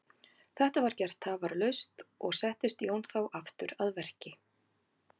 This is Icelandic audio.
Þetta var gert tafarlaust og settist Jón þá aftur að verki.